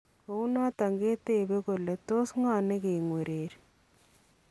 Kounoton keteebe kole tos ng'o nike ng'wererii?